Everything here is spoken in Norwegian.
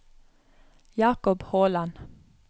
Jakob Håland